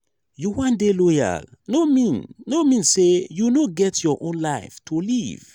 you wan dey loyal no mean no mean sey you no get your own life to live.